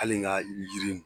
Hali n ka jiri